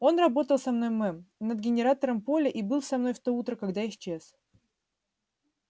он работал со мной мэм над генераторами поля и был со мной в то утро когда исчез